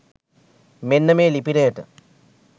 මෙන්න මේ ලිපිනයට.